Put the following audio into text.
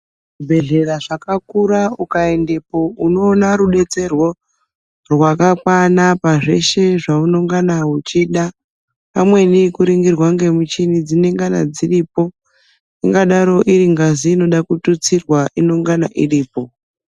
Muzvibhedhlera zvakakura ukaendepo unoona rubetsero rwakakwana pazvese zvaungana uchida pamweni nekuningirwa nemichina inenge iripo ingadaro iringazi inoda kututsirwa inongana iripo.